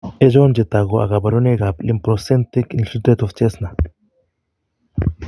Achon chetogu ak kaborunoik ab lympocytic infiltrate of Jessner